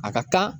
A ka kan